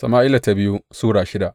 biyu Sama’ila Sura shida